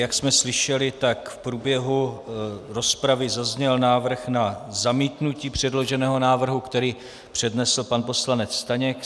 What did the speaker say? Jak jsme slyšeli, tak v průběhu rozpravy zazněl návrh na zamítnutí předloženého návrhu, který přednesl pan poslanec Staněk.